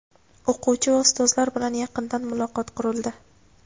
O‘quvchi va Ustozlar bilan yaqindan muloqot qurildi.